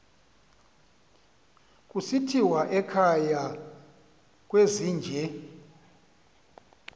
kusithiwa ekhaya kwezinje